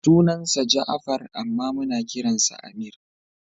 Sunansa Ja'afar amma muna kiransa Ameer.